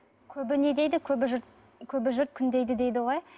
көбі не дейді көбі жұрт көбі жұрт күндейді дейді ғой